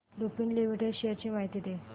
Lupin limited shares ची माहिती दे